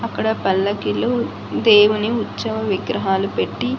అక్కడ పల్లకిలో దేవుని ఉత్సవ విగ్రహాలు పెట్టి.